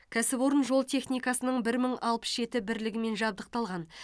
кәсіпорын жол техникасының бір мың алпыс жеті бірлігімен жабдықталған